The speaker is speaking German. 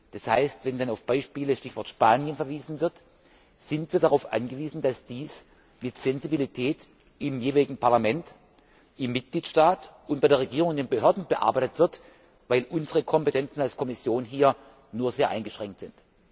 Das heißt wenn dann auf Beispiele Stichwort Spanien verwiesen wird, sind wir darauf angewiesen, dass dies mit Sensibilität im jeweiligen Parlament im Mitgliedstaat und bei der Regierung und den Behörden bearbeitet wird, weil unsere Kompetenzen als Kommission hier nur sehr eingeschränkt sind.